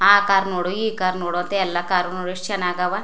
ಆ ಕಾರ್ ನೋಡು ಈ ಕಾರ್ ನೋಡು ಅಂತ ಎಲ್ಲಾ ಕಾರ್ ನು ಎಷ್ಟ ಚನ್ನಾಗ್ ಗದವ್.